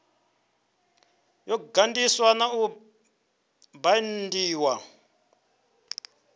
yo ganḓiswa na u baindiwa